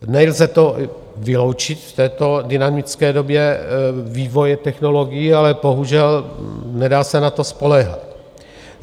Nelze to vyloučit v této dynamické době vývoje technologií, ale bohužel nedá se na to spoléhat.